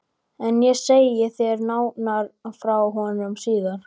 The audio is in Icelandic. En ég segi þér nánar frá honum síðar.